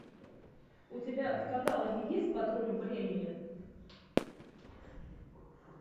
у тебя в каталоге есть патруль времени